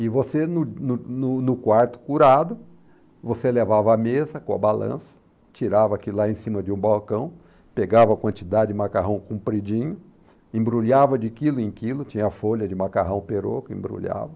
E você, no no no no quarto curado, você levava a mesa com a balança, tirava aquilo lá em cima de um balcão, pegava a quantidade de macarrão compridinho, embrulhava de quilo em quilo, tinha folha de macarrão perocco, embrulhava.